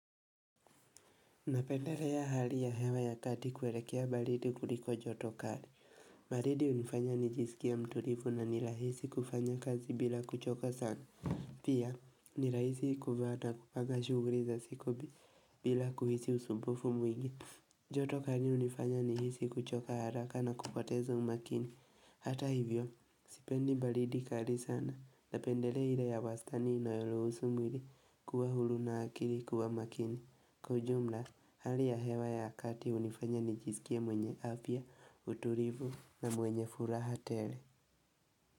Napenderea hali ya hewa ya kati kuelekea baridi kuliko joto kari. Baridi hunifanya nijisikia mtulifu na nirahisi kufanya kazi bila kuchoka sana. Pia, nirahisi kuvaa hata kupanga shughuli za siku bila kuhisi usumbufu mwingi. Joto kari hunifanya nihisi kuchoka haraka na kupotezo umakini. Hata hivyo, sipendi balidi kari sana. Napendelea ile ya wastani inoyoruhusu mwili kuwa huru na akili kuwa makini. Kwa ujumla, hali ya hewa ya akati hunifanya nichisikia mwenye afya utulivu na mwenye furaha tele.